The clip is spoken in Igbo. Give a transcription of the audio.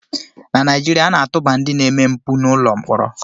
Na Naijiria, a na-atụba ndị na-eme mpụ n'ụlọ mkpọrọ